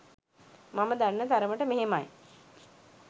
මම දන්න තරමට මෙහෙමයි.